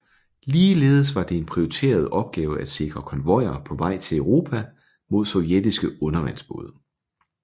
Ligeledes var det en prioriteret opgave at sikre konvojer på vej til Europa mod sovjetiske undervandsbåde